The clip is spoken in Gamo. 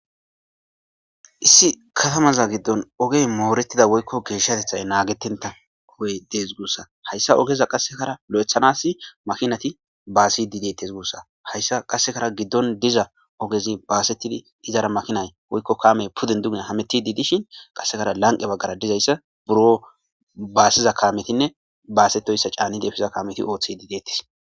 issi katamaza giddon ogey moorettida woykko geeshshatethay naagetenta ogey dees guussa hayssa ogeza qassekara lo7ethanasi makinati baasi diidettes guussa hayssa qassekara giddon diza ogezi baasetidi izara makinay woykko kaamey puden dunia hameti diidishin qassekara lanqe baggara dizayssa buro baassiza kaametinne baasettoysa caani deefsiza kaameti ooththi diidettes